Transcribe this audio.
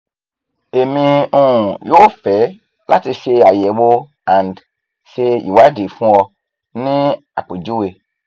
emi um yoo fẹ lati ṣe ayẹwo and ṣe iwadi fun ọ ni apejuwe